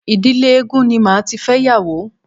Ìdílé eégún ni màá tí fẹ́yàwó.